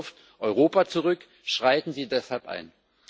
Das wirft Europa zurück, schreiten Sie deshalb ein!